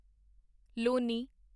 Loni